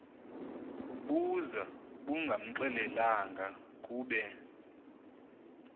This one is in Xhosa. buza bungamxelelanga kube